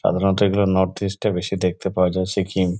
সাধারনত এইগুলো north east -এ বেশি দেখতে পাওয়া যায় সিকিম--